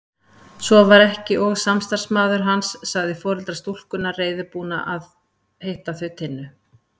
Svo var ekki og samstarfsmaður hans sagði foreldra stúlkunnar reiðubúna að hitta þau Tinnu.